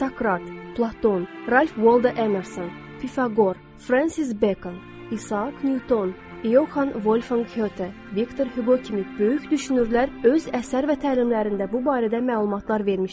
Sakrat, Platon, Ralf Valdo Emerson, Pifaqor, Francis Bacon, İsaak Nyuton, İoxan Volfhan Pqete, Viktor Hüqo kimi böyük düşünürlər öz əsər və təlimlərində bu barədə məlumatlar vermişdilər.